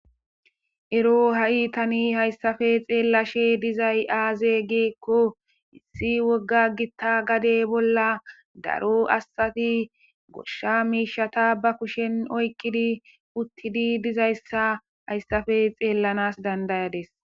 Ero hay tani haysape xelashe dizay aze giko issi woga githa gade bola daro asati gosha mishata ba kushen oyqidi utidi dizaysa haysape xelanas danda'adis.